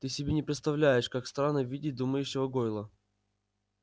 ты себе не представляешь как странно видеть думающего гойла